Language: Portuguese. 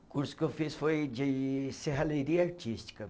O curso que eu fiz foi de serralheria artística.